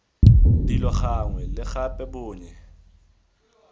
dilo gangwe le gape bonnye